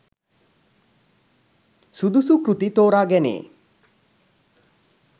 සුදුසු කෘති තෝරා ගැනේ